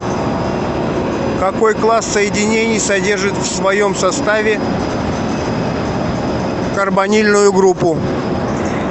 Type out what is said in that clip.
какой класс соединений содержит в своем составе карбонильную группу